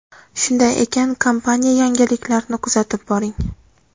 Shunday ekan, kompaniya yangiliklarini kuzatib boring!